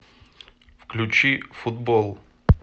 включи футбол